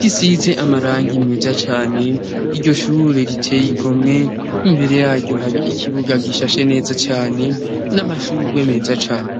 risize amarangi meza cane iryo shure riteye igomwe imbere yaryo hari ikibuga gishashe neza cane n'amashugwe meza cane